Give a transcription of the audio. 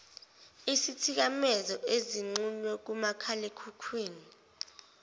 isithikamezo ezixhunywe kumakhalekhukhwini